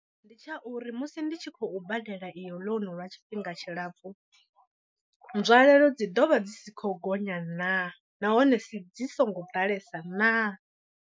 Ndi tsha uri musi ndi tshi khou badela iyo ḽounu lwa tshifhinga tshilapfhu, nzwalelo dzi ḓovha dzi si khou gonya naa nahone dzi songo ḓalesa naa.